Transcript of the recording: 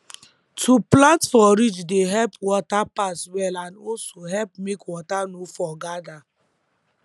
to plant for ridge dey help water pass well and also help make water no for gather